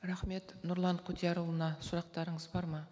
рахмет нұрлан құдиярұлына сұрақтарыңыз бар ма